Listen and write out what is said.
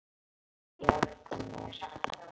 Viltu hjálpa mér?